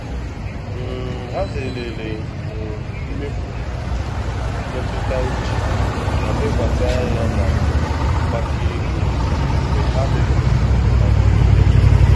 um Ha zerele um mmefu um mmetụta uche ma lekwasị anya na mgbake ego mgbe ha mefuru na mberede.